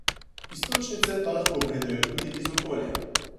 Iztočnice pa lahko pridejo tudi iz okolja.